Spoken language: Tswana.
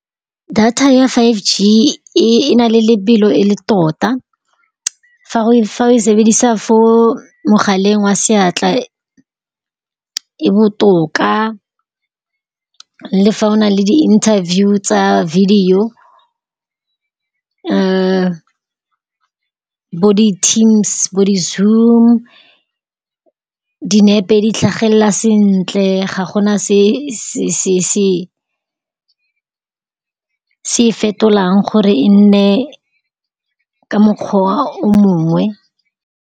Data ya Five G e e na le lebelo e le tota fa o e sebedisa mo galeng wa seatla. E botoka le fa o na le di-interview tsa video bo di-Teams, bo di-Zoom, dinepe di tlhagelela sentle. Ga gona se-se-se-se e fetolang gore e nne ka mokgwa o mongwe.